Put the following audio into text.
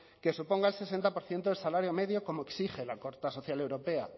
que suponga el sesenta por ciento del salario medio como exige la carta social europea